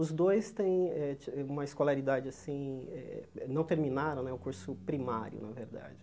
Os dois têm eh uma escolaridade assim eh eh... não terminaram o curso primário, na verdade.